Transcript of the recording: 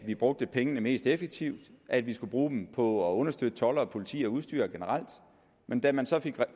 vi brugte pengene mest effektivt at vi skulle bruge dem på at understøtte toldere politi og udstyr generelt men da man så fik